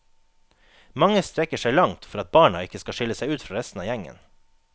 Mange strekker seg langt for at barna ikke skal skille seg ut fra resten av gjengen.